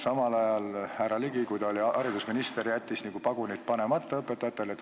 Samal ajal härra Ligi, kui ta oli haridusminister, jättis nagu pagunid panemata õpetajatele.